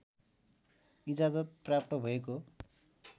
इजाजत प्राप्त भएको